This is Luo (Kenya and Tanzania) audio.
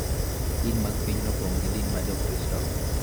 din mag pinyno opong� gi din ma Jokristo.